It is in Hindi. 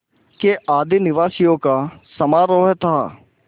के आदिनिवासियों का समारोह था